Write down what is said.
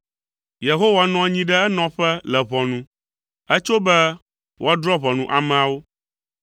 Yehowa nɔ anyi ɖe enɔƒe le ʋɔnu. Etso be wòadrɔ̃ ʋɔnu ameawo.